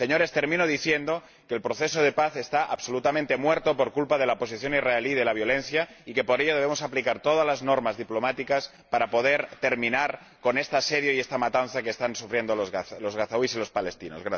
Señores, termino diciendo que el proceso de paz está absolutamente muerto por culpa de la posición israelí de violencia y que, por ello, debemos aplicar todas las normas diplomáticas para poder terminar con este asedio y esta matanza que están sufriendo los gazatíes y los palestinos.